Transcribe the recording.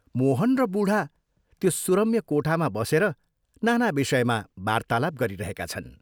मोहन र बूढा त्यो सुरम्य कोठामा बसेर नाना विषयमा वार्तालाप गरिरहेका छन्।